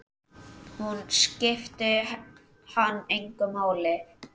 Hún skipti hann engu máli.